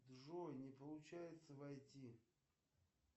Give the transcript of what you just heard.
джой не получается войти